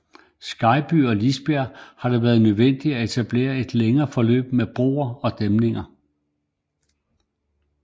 Skejby og Lisbjerg har det været nødvendigt at etablere et længere forløb med broer og dæmninger